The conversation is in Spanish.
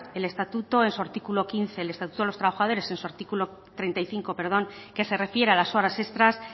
el estatuto de los trabajadores en su artículo treinta y cinco que se refiere a las horas extras